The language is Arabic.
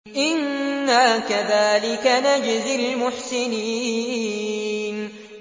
إِنَّا كَذَٰلِكَ نَجْزِي الْمُحْسِنِينَ